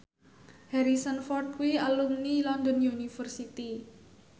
Harrison Ford kuwi alumni London University